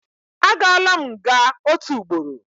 Agaala m nga otu ugboro